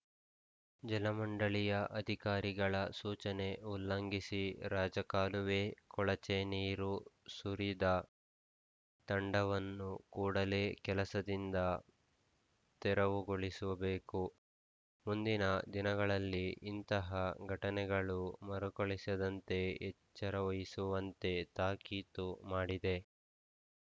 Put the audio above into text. ಜಲಮಂಡಳಿಯ ಅಧಿಕಾರಿಗಳ ಸೂಚನೆ ಉಲ್ಲಂಘಿಸಿ ರಾಜಕಾಲುವೆ ಕೊಳಚ ನೀರು ಸುರಿದ ತಂಡವನ್ನು ಕೂಡಲೇ ಕೆಲಸದಿಂದ ತೆರವುಗೊಳಿಸಬೇಕು ಮುಂದಿನ ದಿನಗಳಲ್ಲಿ ಇಂತಹ ಘಟನೆಗಳು ಮರುಕಳಿಸದಂತೆ ಎಚ್ಚರವಹಿಸುವಂತೆ ತಾಕೀತು ಮಾಡಿದೆ